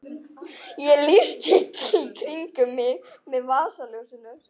Ég lýsti í kringum mig með vasaljósinu.